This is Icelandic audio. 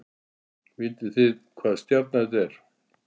Vitið þið hvaða stjarna þetta er